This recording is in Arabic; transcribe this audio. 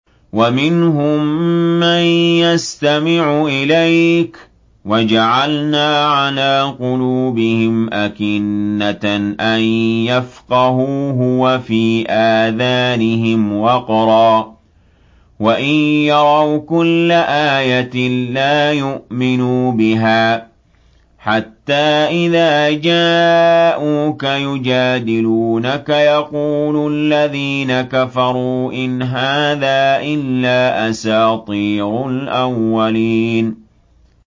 وَمِنْهُم مَّن يَسْتَمِعُ إِلَيْكَ ۖ وَجَعَلْنَا عَلَىٰ قُلُوبِهِمْ أَكِنَّةً أَن يَفْقَهُوهُ وَفِي آذَانِهِمْ وَقْرًا ۚ وَإِن يَرَوْا كُلَّ آيَةٍ لَّا يُؤْمِنُوا بِهَا ۚ حَتَّىٰ إِذَا جَاءُوكَ يُجَادِلُونَكَ يَقُولُ الَّذِينَ كَفَرُوا إِنْ هَٰذَا إِلَّا أَسَاطِيرُ الْأَوَّلِينَ